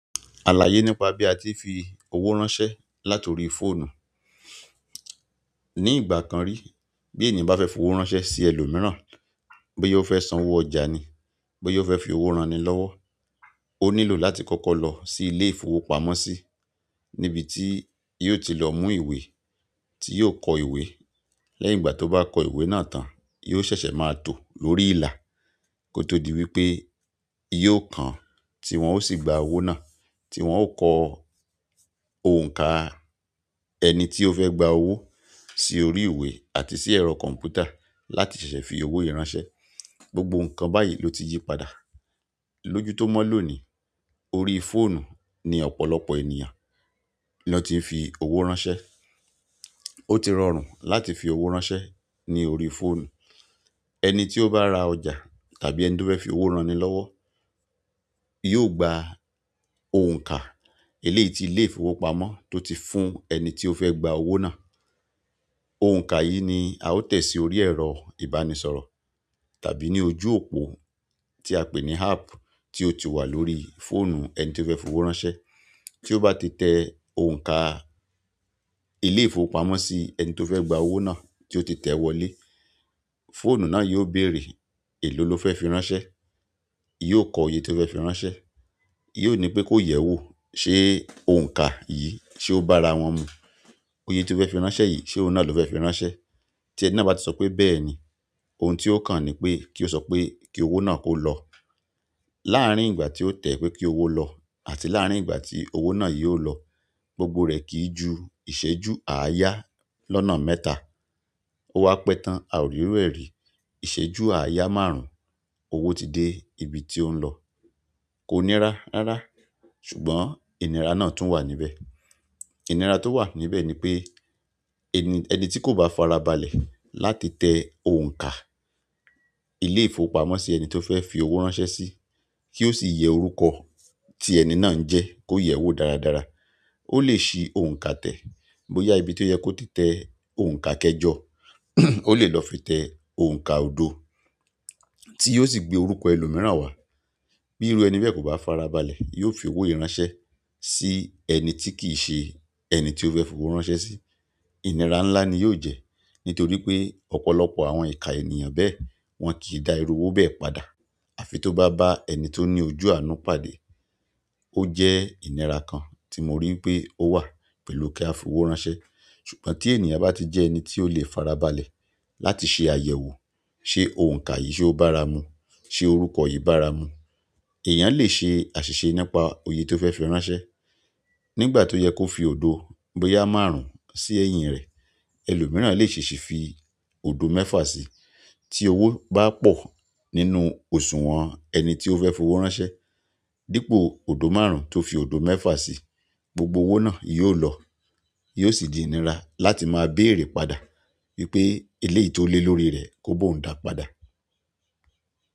Alaye nípa bi a ti fi owo ránṣẹ́ láti orí fóònù ni ìgbà kan rí bí ènìyàn bá fẹ́ fi owó ránṣẹ́ sí ẹlòmíràn, bóyá ó fẹ́ san owó ọjà ni, bóyá ó fẹ́ fi owó ran ni lọ́wọ́, ó nílò láti kọ́kọ́ lọ sí ilé-ìfowópamọ́sí níbi tí yóò ti lọ mú ìwé tí yóò kọ ìwé. Lẹ́yìn ìgbà tó bá kọ ìwé náà tán, yóò ṣẹ̀ṣẹ̀ máa tó lórí ìlà kí ó tó di wípé yóò kàn án tí wón ó sì gba owó náà tí wón ó kọ òǹkà ẹni tí ó fẹ́ gba owó sí orí ìwé àti sí ẹ̀rọ kọ̀m̀pútà láti ṣẹ̀ṣẹ̀ fi owó yìí ránṣẹ́. Gbogbo nǹkan báyìí ló ti yí padà. Lójú tó mó lóòní, orí fóònù ni ọ̀pọ̀lọpọ̀ ènìyàn ni an tí ń fi owó ránṣẹ́. Ó ti rọrùn láti fi owó ránṣẹ́ ní orí fóònù. Ẹni tí ó bá ra ọjà tàbí ẹni tó fẹ́ fi owó ran ni lọ́wọ́ yóò gba òǹkà eleyii tí ilé-ìfowópamọ́ tó ti fún ẹni tí ó fẹ́ gba owó náà. Òǹkà yìí ni a ó tẹ̀ sí orí ẹ̀rọ ìbánisọ̀rọ̀ tàbí ní ojú òpó tí a pè ní "app" tí ó ti wà lórí fóònù ẹni tí ó fẹ́ fi owó ránṣẹ́. Tí ó bá ti tẹ òǹkà ilé-ìfowópamọ́sí ẹni tí ó fẹ́ gba owó náà tí ó ti tẹ̀ wọlé, fóònù náà yóò bèrè èló ló fẹ́ fi ránṣẹ́. Yóò kọ oyè tó fẹ́ fi ránṣẹ́. Yóò ní pé kó yẹ̀ ẹ́ wò ṣe òǹkà yìí ṣe ó bá ara wọn mu. Oyè tí ó fẹ́ fi ránṣẹ́ yìí ṣe òun náà ló fẹ́ fi ránṣẹ́. Tí ẹni náà bá ti sọ pé "bẹ́ẹ̀ni", ohun tí ó kàn ni pé kí ó sọ pé kí owó náà kó lọ. Láàárín ìgbà tí ó tẹ́ pé kí owó lọ àti láàárín ìgbà tí owó náà yóò lọ, gbogbo rẹ̀ kì í ju ìṣẹ́jú àáyá lọ́nà mẹ́ta. Ó wá pẹ́ tán, a ò rí iru ẹ́ rí. Iṣẹju àáyá máàrún, owo ti de ibi ti o n lọ. Kò nírá rárá, ṣùgbọ́n ìnira náà tún wà níbẹ̀. Ìnira tó wà níbẹ̀ ni pé ẹni, ẹni tí kò bá farabalẹ̀ láti tẹ òǹkà ilé-ìfowópamọ́sí ẹni tí ó fẹ́ fi owó ránṣẹ́ sí kí ó sì yẹ orúkọ tí ẹni náà ń jẹ́ kó yẹ̀ ẹ́ wò dáradára, ó lè ṣí òǹkà tẹ̀ bóyá ibi tí ó yẹ kó ti tẹ òǹkà kẹ́jọ, ó lè lọ fi tẹ òǹkà odò tí yóò sì gbé orúkọ ẹlòmíràn wá. Bí irú ẹni bẹ́ẹ̀ kò bá farabalẹ̀, yóò fi owó yìí ìránṣẹ́ sí ẹni tí kì í ṣe ẹni tí ó fẹ́ fi owó ránṣẹ́ sí. Ìnira ńlá ni yóò jẹ́ nítorí pé ọ̀pọ̀lọpọ̀ àwọn ika ènìyàn bẹ́ẹ̀ wọ́n kì í da irú owó bẹ́ẹ̀ padà. Àfi tó bá bá ẹni tó ní ojú àánú pàdé. Ó jẹ́ ìnira kan tí mo rí ìpé ó wà pẹ̀lú kí a fi owó ránṣẹ́. Ṣùgbọ́n tí ènìyàn bá ti jẹ́ ẹni tí ó lè farabalẹ̀ láti ṣe àyẹ̀wò ṣe òǹkà yìí ṣe ó bá ara mu, ṣe orúkọ yìí bá ara mu, èèyàn lè ṣe àṣìṣe nípa oyè tó fẹ́ fi ránṣẹ́. Nígbà ti o ye ko fi odo boya máàrún sí ẹyin rẹ, ẹlòmíràn le ṣeeṣi fi odo mẹfa si tí owó bá pọ̀ nínú òṣùwọ̀n ẹni tí ó fẹ́ fi owó ránṣẹ́ dípò odò márùn-ún tó fi odò mẹ́fà sí, gbogbo owó náà yóò lọ. Yóò sì di ìnira láti máa béèrè padà wípé eleyii tó lé lórí rẹ̀ kó bó ń dáa padà.